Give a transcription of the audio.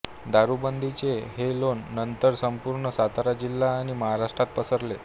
दारूबंदीचे हे लोण नंतर संपूर्ण सातारा जिल्हा आणि महाराष्ट्रात पसरले